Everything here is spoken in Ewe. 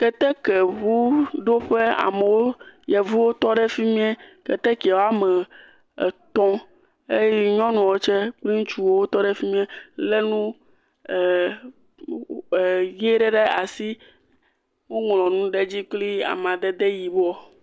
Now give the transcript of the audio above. Ketekuŋuɖoƒe. Amewo, yevuwo tɔ ɖe fi mie. Keteke wɔme etɔ̃ eye nyɔnuwo tse kple ŋutsuwo tɔ ɖe fi mie. Le nu ee nu wo e ʋi ɖe ɖe asi woŋlɔ nu ɖe edzi kple amadede ʋiwo.